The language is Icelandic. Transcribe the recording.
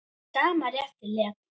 Með sama rétti lét